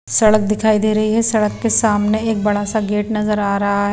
सड़क दिखाई दे रही है सड़क के सामने एक बड़ा सा गेट नजर आ रहा है।